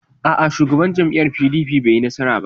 A'a, Shugaban jam'iyyar PDP bai yi nasara ba.